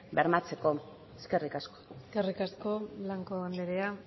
bermatzeko eskerrik asko eskerrik asko blanco anderea